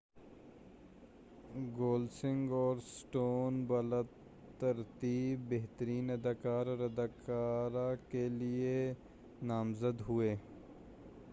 Gosling اور Stone بالترتیب بہترین اداکار اور اداکارہ کیلئے نامزد ہوئے